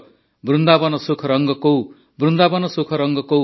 ବୃନ୍ଦାବନ ସୁଖ ରଙ୍ଗ କୌ ବୃନ୍ଦାବନ ସୁଖ ରଙ୍ଗ କୌ